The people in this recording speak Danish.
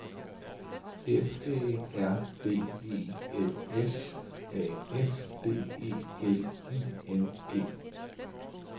F Æ R D E L S A F D E L I N G